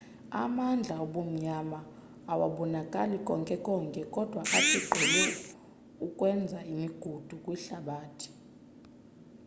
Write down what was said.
amandla obumnyama awabonakali konke konke kodwa athi gqolo ukwenza imigudu kwihlabathi